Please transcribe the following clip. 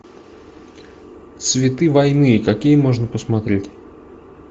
цветы войны какие можно посмотреть